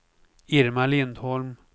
Irma Lindholm